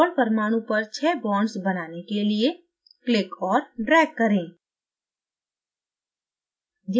cobalt परमाणु पर छः bonds बनाने के लिए click और drag करें